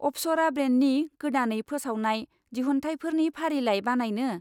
अपसरा ब्रेन्डनि गोदानै फोसावनाय दिहुनथाइफोरनि फारिलाय बानायनो?